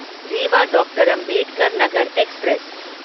रीवा डॉ. अंबेडकर नगर एक्सप्रेस